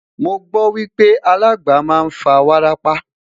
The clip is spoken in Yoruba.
mọ gbo wipe alàgbà má n fa wárápá